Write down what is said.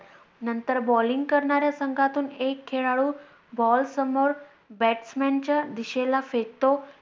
नंतर Balling करणाऱ्या संघातून एक खेळlडू ball समोर batsman च्या दिशेला फेकतो.